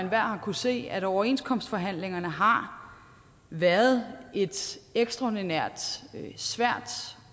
har kunnet se at overenskomstforhandlingerne har været et ekstraordinært svært